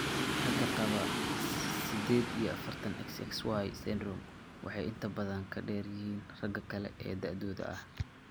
Ragga qaba sided iyo afartan, XXYY syndrome waxay inta badan ka dheer yihiin ragga kale ee da'dooda ah.